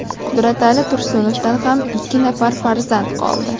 Qudratali Tursunovdan ham ikki nafar farzand qoldi.